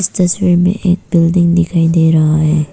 तस्वीर में एक बिल्डिंग दिखाई दे रहा है।